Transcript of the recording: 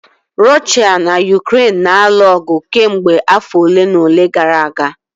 Russia na Ukraine na-alụ ọgụ kemgbe afọ ole na ole gara aga